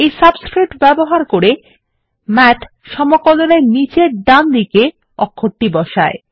এই সাবস্ক্রিপ্ট ব্যবহার করে মাথ সমকলনের নীচের ডানদিকে অক্ষরটিকে বসায়